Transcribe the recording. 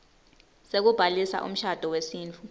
sekubhalisa umshado wesintfu